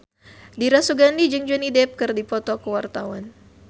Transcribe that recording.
Dira Sugandi jeung Johnny Depp keur dipoto ku wartawan